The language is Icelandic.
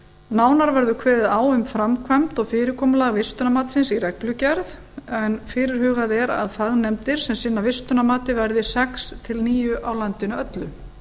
nánar verður kveðið á um framkvæmd og fyrirkomulag vistunarmatsins í reglugerð en fyrirhugað er að fagnefndir sem sinna vistunarmati veri sex til níu á landinu öllu